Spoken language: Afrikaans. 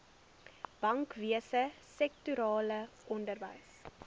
bankwese sektorale onderwys